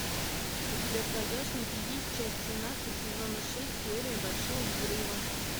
у тебя в загашнике есть часть семнадцать сезона шесть теория большого взрыва